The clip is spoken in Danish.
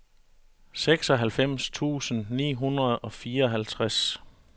seksoghalvfems tusind ni hundrede og fireoghalvtreds